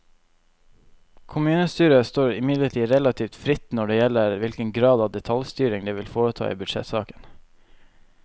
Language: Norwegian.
Kommunestyret står imidlertid relativt fritt når det gjelder hvilken grad av detaljstyring det vil foreta i budsjettsaken.